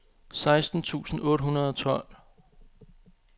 seksten tusind otte hundrede og tolv